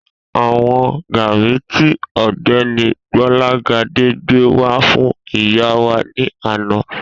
A wọn gàárì tí ògbéni Gbólágadé gbé wá fún ìyá wà ní àná